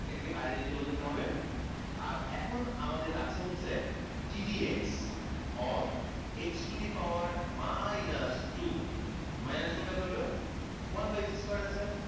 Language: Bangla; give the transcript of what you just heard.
এটাকে বাইরে নিয়ে চলে যেতে হবে আর এখন আমাদের আছে হচ্ছে d dx of x to the power minus two minus two কেমনে হইল? one by x square আছে